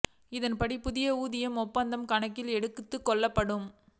இதன் படி புதிய ஊதிய ஒப்பந்தம் கணக்கில் எடுத்துக் கொள்ளப்படும்